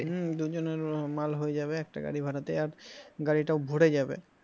হম দুজনের মাল হয়ে যাবে একটা গাড়ি ভাড়াতে আর গাড়িটাও ভরে যাবে